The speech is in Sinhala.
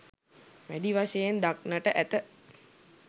වැඩි වශයෙන් දක්නට ඇත